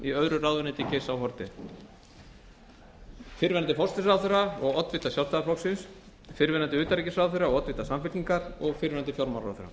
í öðru ráðuneyti geirs h haarde a fyrrverandi forsætisráðherra og oddvita sjálfstæðisflokksins b fyrrverandi utanríkisráðherra og oddvita samfylkingar og c fyrrverandi fjármálaráðherra